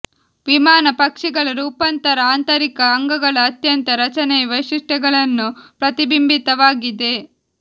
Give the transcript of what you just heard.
ವಿಮಾನ ಪಕ್ಷಿಗಳು ರೂಪಾಂತರ ಆಂತರಿಕ ಅಂಗಗಳ ಅತ್ಯಂತ ರಚನೆಯ ವೈಶಿಷ್ಟ್ಯಗಳನ್ನು ಪ್ರತಿಬಿಂಬಿತವಾಗಿದೆ